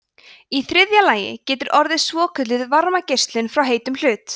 í þriðja lagi getur orðið svokölluð varmageislun frá heitum hlut